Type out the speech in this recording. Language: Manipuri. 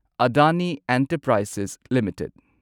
Adani enterprises limited